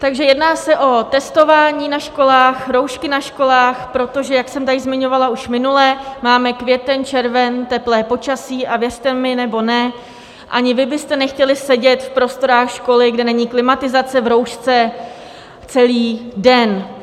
Takže jedná se o testování na školách, roušky na školách, protože jak jsem tady zmiňovala už minule, máme květen, červen, teplé počasí, a věřte mi nebo ne, ani vy byste nechtěli sedět v prostorách školy, kde není klimatizace, v roušce celý den.